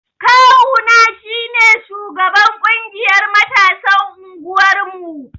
Ƙawu na shine sugaban ƙungiyar matasan unguwar mu.